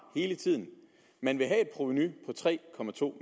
hele tiden man vil have et provenu på tre